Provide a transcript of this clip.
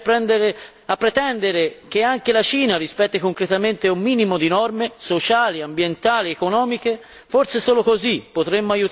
Dovremmo incominciare invece a pretendere che anche la Cina rispetti concretamente un minimo di norme sociali, ambientali ed economiche